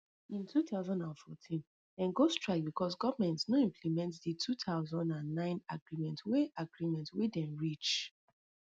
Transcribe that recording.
in two thousand and fourteen dem go strike becos goment no implement di two thousand and nine agreement wey agreement wey dem reach